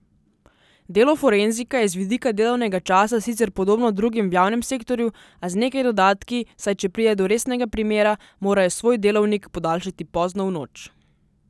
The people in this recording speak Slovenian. Delo forenzika je z vidika delovnega časa sicer podobno drugim v javnem sektorju, a z nekaj dodatki, saj če pride do resnega primera, morajo svoj delovnik podaljšati pozno v noč.